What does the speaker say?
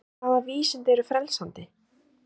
En hvaða vísindi eru frelsandi?